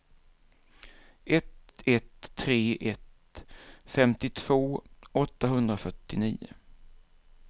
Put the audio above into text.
ett ett tre ett femtiotvå åttahundrafyrtionio